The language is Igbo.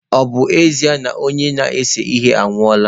Ọ bụ ezie na onye na-ese ihe anwụọla